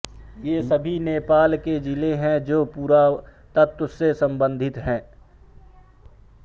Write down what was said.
ये सभी नेपाल के जिले है जो पुरातत्व से सम्बंधित है